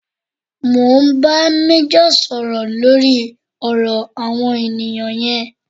Mo ń bá méjọ̀ sọ̀rọ̀ lórí ọ̀rọ̀ àwọn ènìyàn yẹn